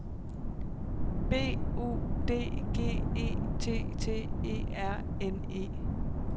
B U D G E T T E R N E